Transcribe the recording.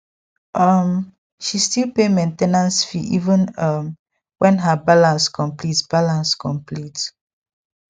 um she still pay main ten ance fee even um when her balance complete balance complete